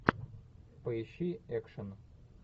поищи экшен